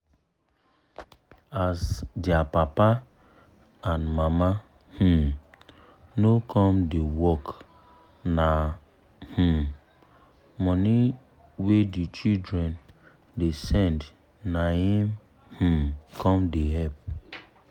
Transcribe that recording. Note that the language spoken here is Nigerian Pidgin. as dia papa and mama um no come da work na um money wey the children da send naim um com da help